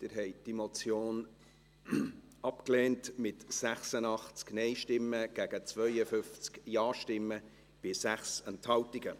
Sie haben diese Motion abgelehnt, mit 86 Nein- zu 52 Ja-Stimmen bei 6 Enthaltungen.